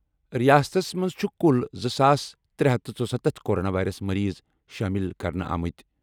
رِیاستَس منٛز چُھ کُل زٕ ساس ترہ ہتھ تہٕ ژۄستَتھ کورونا وائرس مٔریٖض شٲمِل کرنہٕ آمٕتۍ۔